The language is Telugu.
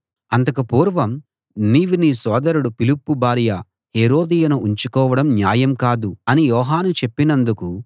అంతకు పూర్వం నీవు నీ సోదరుడు ఫిలిప్పు భార్య హేరోదియను ఉంచుకోవడం న్యాయం కాదు అని యోహాను చెప్పినందుకు